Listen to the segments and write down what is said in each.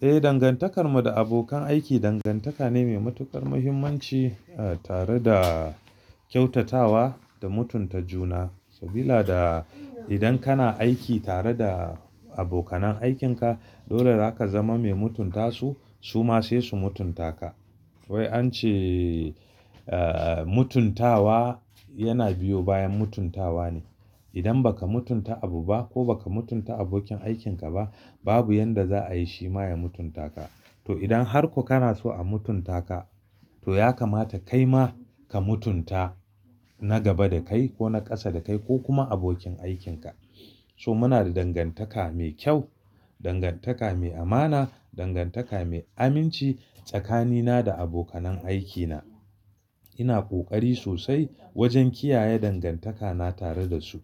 Eh, dangantakarmu da abokan aiki dangantaka ne mai matukar muhimmanci, eh, tare da kyautatawa da mutunta juna. Sabida da idan kana aiki tare da abokanan aikinka dole zaka zama mai mutunta su, su ma sai su mutunta ka. Wai an ce, eh, mutuntawa yana biyo bayan mutuntawa ne. Idan baka mutunta abu ba ko baka mutunta abokin aikin ka ba, babu yanda za a yi shi ma ya mutunta ka. To idan har ko kana so a mutunta ka to ya kamata kai ma ka mutunta na gaba da kai ko na ƙasa da kai ko kuma abokin aikin ka. So muna da dangantaka mai kyau, dangantaka mai amana, dangantaka mai aminci tsakanina da abokanan aikina. Ina kokari sosai wajen kiyaye dangantakana tare da su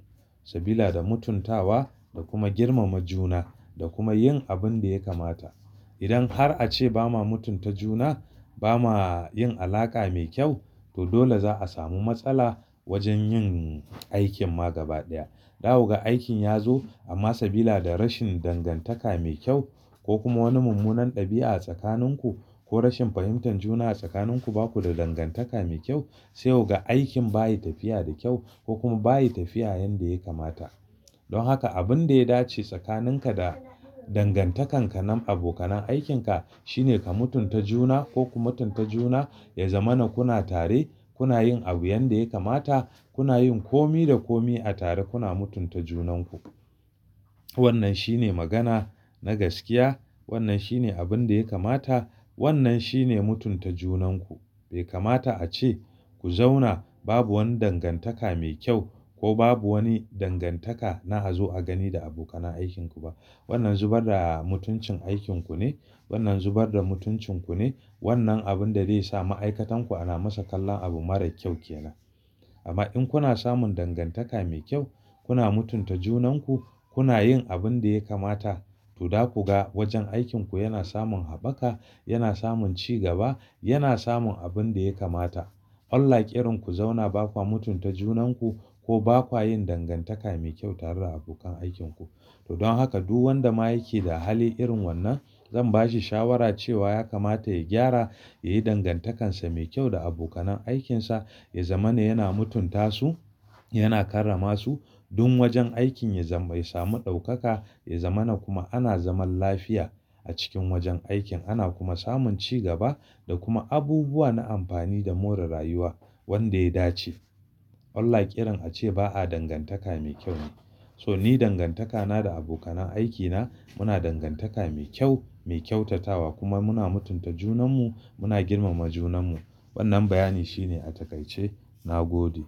sabila da mutuntawa da kuma girmama juna da kuma yin abin da ya kamata. Idan har a ce ba ma mutunta juna, ba ma yin alaƙa mai kyau to dole za a samu matsala wajen yin aikin ma gaba ɗaya. Daku ga aikin ya zo amma sabila da rashin dangantaka mai kyau ko kuma wani mummunan ɗabi'a a tsakanin ku ko rashin fahimtar juna a tsakanin ku baku da dangantaka mai kyau sai kuga aikin bayi tafiya da kyau ko kuma bayi tafiya yanda ya kamata. Don haka abin da ya dace tsakanin ka da dangantakan ka na abokanan aikin ka shine ka mutunta juna ko ku mutunta juna, ya zama na kuna tare, kuna yin abu yanda ya kamata, kuna yin kome da kome a tare kuna mutunta junan ku. Wannan shine magana na gaskiya. Wannan shine abin da ya kamata. Wannan shine mutunta junan ku. Bai kamata a ce ku zauna babu wani dangantaka mai kyau ko babu wani dangantaka na a zo a gani da abokanan aikin ku ba. Wannan zubar da mutuncin aikin ku ne. Wannan zubar da mutuncin ku ne. Wannan abin da zai sa ma'aikatan ku ana masa kallon abu mara kyau ke nan. Amma in kuna samun dangantaka mai kyau, kuna mutunta junan ku, kuna yin abin da ya kamata to za ku ga wajen aikin ku yana samun haɓaka, yana samun ci gaba, yana samun abin da ya kamata. On like irin ku zauna baku mutunta junan ku ko baku yin dangantaka mai kyau tare da abokan aikin ku. To don haka duk wanda ma yake da hali irin wannan zan bashi shawara cewa ya kamata ya gyara, ya yi dangantaka sa mai kyau da abokanan aikinsa, ya zama na yana mutunta su, yana karrama su don wajen aikin ya samu ɗaukaka, ya zama na kuma ana zaman lafiya a cikin wajen aikin, ana kuma samun ci gaba da kuma abubuwa na amfani da more rayuwa wanda ya dace. On like irin a ce ba a dangantaka mai kyau ne. So ni dangantaka na da abokanan aikina muna dangantaka mai kyau, mai kyautatawa kuma muna mutunta junan mu, muna girmama junan mu. Wannan bayani shine a takaice. Na gode.